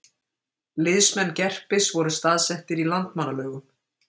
Liðsmenn Gerpis voru staðsettir í Landmannalaugum